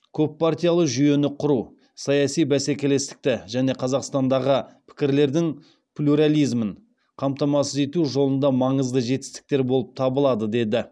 көппартиялы жүйені құру саяси бәсекелестікті және қазақстандағы пікірлердің плюрализмін қамтамасыз ету жолында маңызды жетістіктер болып табылады деді